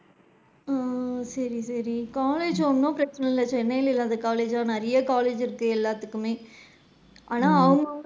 ஓ! சேரி சேரி. College ஒன்னும் பிரச்சனை இல்ல சென்னைல இல்லாத college ஜா, நிறைய college இருக்கு எல்லாத்துக்குமே ஆனா அவுங்க அவுங்க,